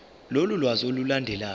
lolu lwazi olulandelayo